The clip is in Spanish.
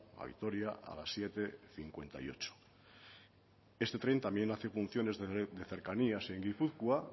a vitoria a las siete cincuenta y ocho ese tren también hace funciones de cercanías en gipuzkoa